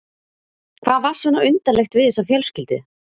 Hvað var svona undarlegt við þessa fjölskyldu?